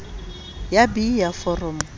ya b ya foromo ya